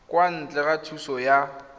kwa ntle ga thuso ya